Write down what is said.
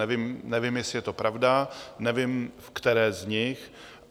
Nevím, jestli je to pravda, nevím, ve které z nich.